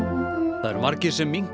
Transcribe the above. það eru margir sem minnka